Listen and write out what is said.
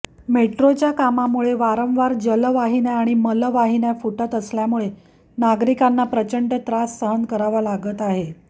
मेट्रोच्या कामामुळे वारंवार जलवाहिन्या आणि मलवाहिन्या फुटत असल्यामुळे नागरिकांना प्रचंड त्रास सहन करावा लागत आहे